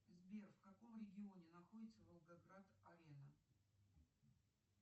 сбер в каком регионе находится волгоград арена